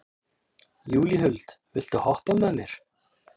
Júlíhuld, viltu hoppa með mér?